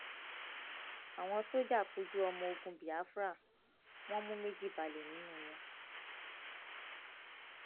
àwọn sójà kojú ọmọ ogun biafra wọn mú méjì balẹ nínú wọn